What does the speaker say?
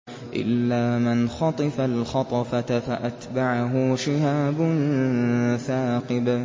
إِلَّا مَنْ خَطِفَ الْخَطْفَةَ فَأَتْبَعَهُ شِهَابٌ ثَاقِبٌ